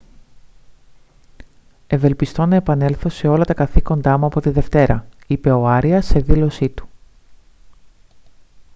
«ευελπιστώ να επανέλθω σε όλα τα καθήκοντά μου από τη δευτέρα» είπε ο άριας σε δήλωσή του